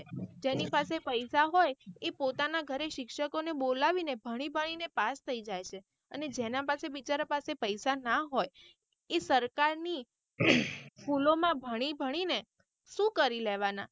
જેની પાસે પૈસા હોય એ પોતાના ઘરે શિક્ષકો ને બોલાવી ને ભણી ભણી ને પાસ થઇ જાય છે અને જેના પાસે બિચારા પાસે પૈસા ના હોય એ સરકારની school માં ભણી ભણી ને સુ કરી લેવાના.